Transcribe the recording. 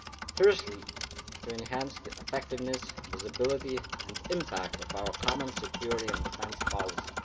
Firstly, to enhance the effectiveness, visibility and impact of our common security and defence policy.